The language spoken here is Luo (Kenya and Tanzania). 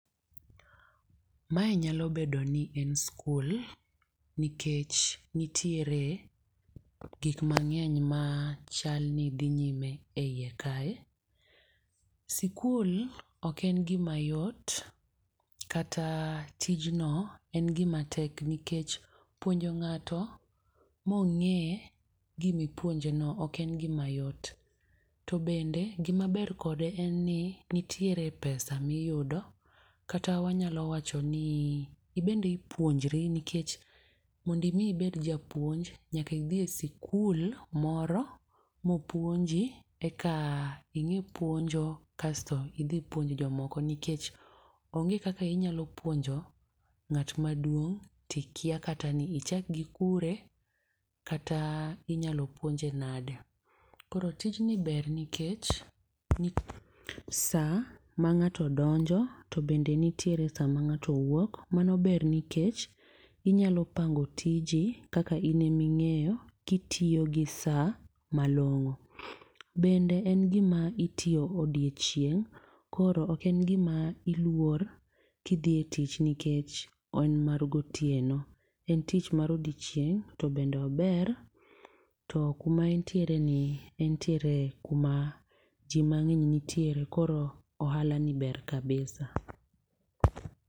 Mae nyalo bedo ni en skul. Nikech nitiere gik mang'eny ma chalni dhi nyime eiye kae. Skul ok en gima yot kata tijno en gima tek nikech puonjo ng'ato mong'e gimipuonjeno ok en gima yot. To bende gimaber kode en ni nitiere pesa miyudo kata wanyalo wacho ni ibende ipuonjri nikech mondo imi ber japuonj, nyaka idhi e skul moro mopuonji eka ing'e puonjo kasto idhi puonj jomoko. Nikech onge kaka inyalo puonjo ng'at maduong' tikia kata ni ichak gi kure kata inyalo puonje nade. Koro tij ni ber nikech, saa mang'ato donjo to bende nitiere saa mang'ato wuok. Mano ber nikech inyalo pango tiji kaka ine ming'eyo, kitiyo gi saa malong'o. Bende en gima itiyo odiechieng' koro ok en gima iluor kidhi e tich nikech en mar gotieno. En tich mar odiechieng' to bende ober to kuma entiere ni entiere kuma ji mang'eny nitiere koro ohala ni ber kabisa.